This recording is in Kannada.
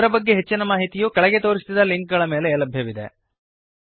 ಇದರ ಬಗ್ಗೆ ಹೆಚ್ಚಿನ ಮಾಹಿತಿಯು ಕೆಳಗೆ ತೋರಿಸಿದ ಲಿಂಕ್ ಗಳ ಮೇಲೆ ಲಭ್ಯವಿದೆ